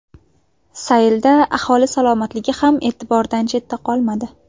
Saylda aholi salomatligi ham e’tibordan chetda qolmadi.